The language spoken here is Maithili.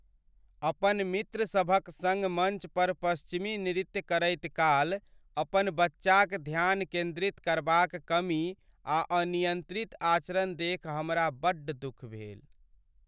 अपन मित्र सभक संग मञ्च पर पश्चिमी नृत्य करैत काल अपन बच्चाक ध्यान केन्द्रित करबाक कमी आ अनियंत्रित आचरण देखि हमरा बड्ड दुख भेल।